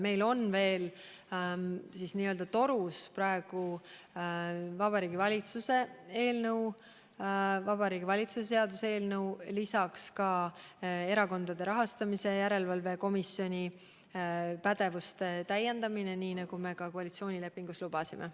Meil on veel n-ö torus Vabariigi Valitsuse seaduse eelnõu, lisaks Erakondade Rahastamise Järelevalve Komisjoni pädevuse täiendamise, nii nagu me koalitsioonilepingus lubasime.